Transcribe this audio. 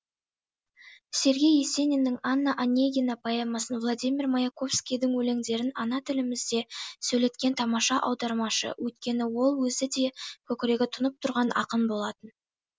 сергей есениннің анна онегина поэмасын владимир маяковскийдің өлеңдерін ана тілімізде сөйлеткен тамаша аудармашы өйткені ол өзі де көкірегі тұнып тұрған ақын болатын